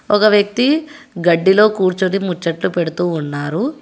ఒక వ్యక్తి గడ్డిలో కూర్చుని ముచ్చట్లు పెడుతూ ఉన్నారు.